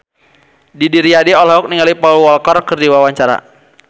Didi Riyadi olohok ningali Paul Walker keur diwawancara